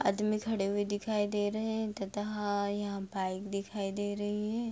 आदमी खड़े हुए दिखाई दे रहे हैं तथा हां यहाँ बाइक दिखाई दे रही है।